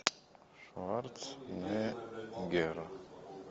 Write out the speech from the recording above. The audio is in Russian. шварценеггер